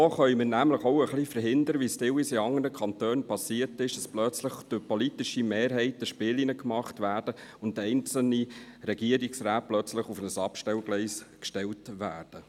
So können wir nämlich auch ein bisschen verhindern – wie es teilweise in anderen Kantonen geschehen ist –, dass plötzlich durch politische Mehrheiten Spielchen gemacht werden und einzelne Regierungsräte plötzlich auf ein Abstellgleis gestellt werden.